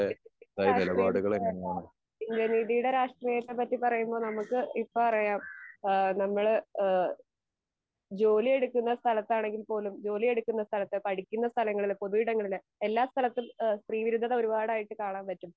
വികസിപ്പിച്ച രാക്ഷ്ട്രിയം ഏഹ് എന്താ നല്ല രീതിടെ രാക്ഷ്ട്രിയത്തെ പറ്റി പറയുന്ന നമ്മുക്ക് ഇപ്പറയാം ഏഹ് നമ്മളെ ഏഹ് ജോലിയെടുക്കന്ന സ്ഥലത്താണേൽ പോലും ജോലിയെടുക്കന്ന സ്ഥലത്ത് പഠിക്കുന്ന സ്ഥലങ്ങളിൽ പൊതു ഇടങ്ങളിൽ എല്ലാ സ്ഥലത്തും ഏഹ് സ്ത്രീ വിരുദ്ധത ഒരുപാടായിട്ട് കാണാൻ പറ്റും